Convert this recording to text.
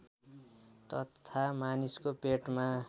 तथा मानिसको पेटमा